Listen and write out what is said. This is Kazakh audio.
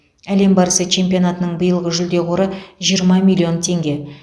әлем барысы чемпионатының биылғы жүлде қоры жиырма миллион теңге